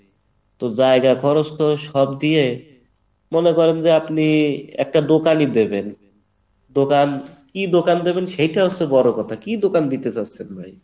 তো জায়গা খরচ তো সব দিয়ে মনে করেন যে আপনি একটা দোকানি দিবেন দোকান, দোকান কী দোকান দিবেন সেটা হচ্ছে বড় কথা, কী দোকান দিতে চাচ্ছেন ভাই?